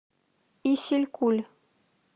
исилькуль